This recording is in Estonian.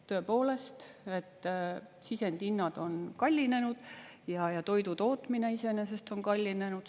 Tõepoolest, sisendhinnad on kallinenud ja toidu tootmine iseenesest on kallinenud.